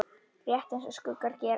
Rétt eins og skuggar gera.